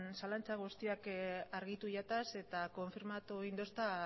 zalantza guztiak argitu jataz eta konfirmatu egin dosta